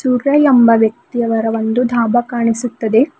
ಸೂರ್ಯ ಎಂಬ ವ್ಯಕ್ತಿಯವರ ಒಂದು ಡಾಬ ಕಾಣಿಸುತ್ತದೆ.